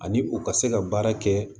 Ani u ka se ka baara kɛ